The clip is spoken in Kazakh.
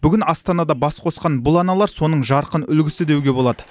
бүгін астанада бас қосқан бұл аналар соның жарқын үлгісі деуге болады